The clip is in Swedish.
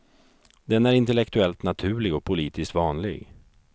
Den är intellektuellt naturlig och politiskt vanlig.